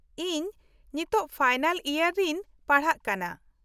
-ᱤᱧ ᱱᱤᱛᱳᱜ final year ᱨᱤᱧ ᱯᱟᱲᱦᱟᱜ ᱠᱟᱱᱟ ᱾